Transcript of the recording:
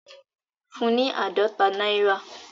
Fún un ní àádọ́ta náírà